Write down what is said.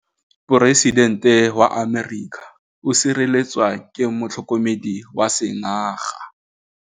Poresitêntê wa Amerika o sireletswa ke motlhokomedi wa sengaga.